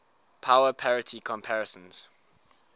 power parity comparisons